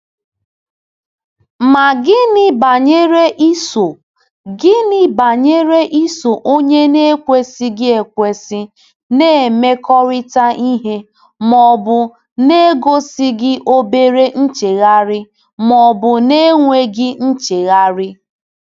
Ma gịnị banyere iso gịnị banyere iso onye na-ekwesịghị ekwesị na-emekọrịta ihe ma ọ bụ na-egosighị obere nchegharị ma ọ bụ na-enweghị nchegharị?